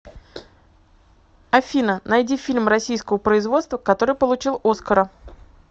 афина найди фильм российского производства который получил оскара